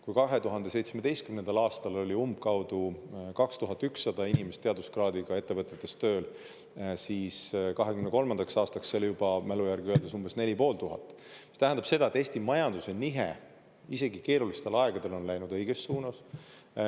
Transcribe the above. Kui 2017. aastal oli umbkaudu 2100 inimest teaduskraadiga ettevõttetes tööl, siis 2023. aastaks see oli mälu järgi öeldes umbes neli ja pool tuhat, mis tähendab seda, et Eesti majanduse nihe isegi keerulistel aegadel on läinud õiges suunas.